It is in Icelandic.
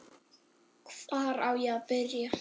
Hvar á ég að byrja!